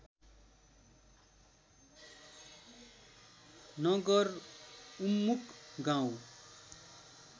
नगर उन्मुख गाउँ